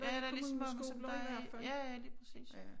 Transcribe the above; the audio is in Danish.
Ja der lige så mange som der er i ja ja lige præcis